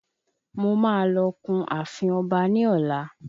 Mo máa lọ kun ààfin ọba ní ọlá.